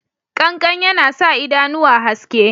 Ƙankan yana sa idanuwa haske.